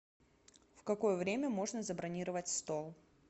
в какое время можно забронировать стол